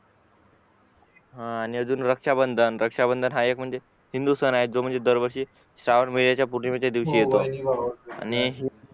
हा आणि अजून रक्षाबंधन रक्षाबंधन हा एक म्हणजे हिंदू सण आहे जो म्हणजे दरवर्षी श्रावण महिनायचंय दिवशी येतो आणि